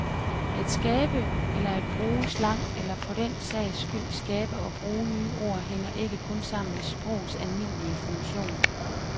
At skabe eller at bruge slang eller for den sags skyld skabe og bruge nye ord hænger ikke kun sammen med sprogets almindelige funktion.